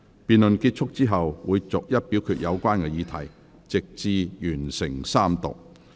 辯論結束後，會逐一表決有關議題，直至完成三讀。